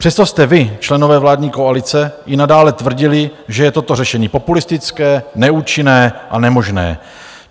Přesto jste, vy členové vládní koalice, i nadále tvrdili, že je toto řešení populistické, neúčinné a nemožné.